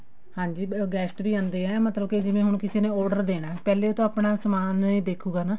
ਹਾਂਜੀ guest ਵੀ ਆਉਂਦੇ ਆ ਮਤਲਬ ਕੇ ਜਿਵੇਂ ਹੁਣ ਕਿਸੇ ਨੇ order ਦੇਣਾ ਪਹਿਲੇ ਤਾਂ ਆਪਣਾ ਸਮਾਨ ਹੀ ਦੇਖੁਗਾ ਨਾ